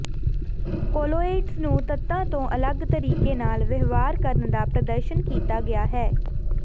colloids ਨੂੰ ਤੱਤਾਂ ਤੋਂ ਅਲਗ ਤਰੀਕੇ ਨਾਲ ਵਿਵਹਾਰ ਕਰਨ ਦਾ ਪ੍ਰਦਰਸ਼ਨ ਕੀਤਾ ਗਿਆ ਹੈ